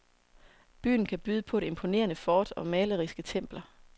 Byen kan byde på et imponerende fort og maleriske templer.